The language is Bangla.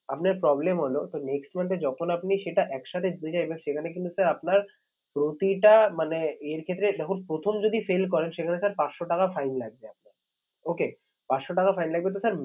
আপনার problem হলো তো next month এ যখন আপনি সেটা এক সাথে দিলেন সেখানে কীন্তু sir আপনার প্রতিটা মানে এর ক্ষেত্রে যখন প্রথম যদি fail করেন সেখানে sir পাঁচশো টাকা fine লাগবে আপনার। okay পাঁচশো টাকা fine লাগবে তো sir